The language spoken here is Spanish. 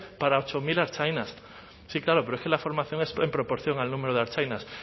para ocho mil ertzainas sí claro pero es que la formación es en proporción al número de ertzainas